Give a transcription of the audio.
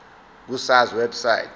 ku sars website